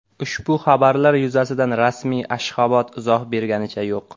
Ushbu xabarlar yuzasidan rasmiy Ashxobod izoh berganicha yo‘q.